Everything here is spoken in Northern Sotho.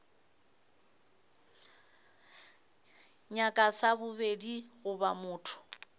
nyaka sa bobedi goba motho